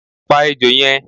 Pa ejò yen